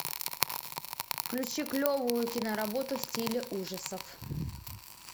включи клевую киноработу в стиле ужасов